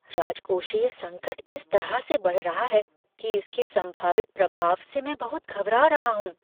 राजकोषीय संकट इस तरह से बढ़ रहा है कि इसके संभावित प्रभाव से मैं बहुत घबरा रहा हूँ।